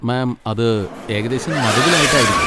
മാം അത് ഏകദേശം നടുവിൽ ആയിട്ടായിരിക്കും.